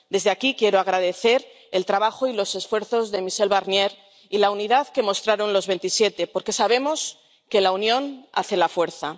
Desde aquí quiero agradecer el trabajo y los esfuerzos de Michel Barnier y la unidad que mostraron los Veintisiete, porque sabemos que la unión hace la fuerza.